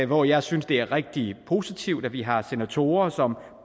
hvor jeg synes det er rigtig positivt at vi har senatorer som